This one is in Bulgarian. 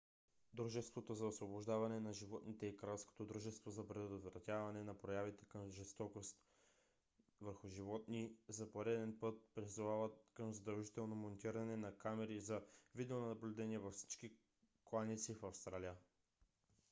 дружеството за освобождаване на животните и кралското дружество за предотвратяване на проявите на жестокост към животни rspca за пореден път призовават към задължително монтиране на камери за видеонаблюдение във всички кланици в австралия